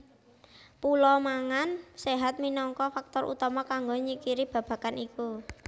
Pola mangan séhat minangka faktor utama kanggo nyingkiri babagan iku